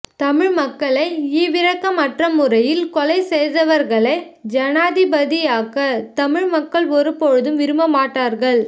தமிழ் மக்களை ஈவிரக்கமற்ற முறையில் கொலை செய்தவர்களை ஜனாதிபதியாக்க தமிழ் மக்கள் ஒரு போதும் விரும்பமாட்டார்கள்